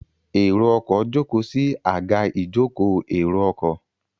Èrò ọkọ̀ jókòó sí Àga ìjókòó èrò ọkọ̀